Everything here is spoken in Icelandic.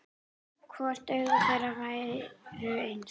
Hvort augu þeirra væru eins.